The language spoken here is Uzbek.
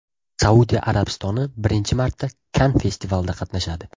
Saudiya Arabistoni birinchi marta Kann festivalida qatnashadi.